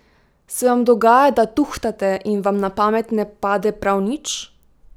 Se vam dogaja, da tuhtate in vam na pamet ne pade prav nič?